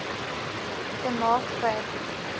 te maak vir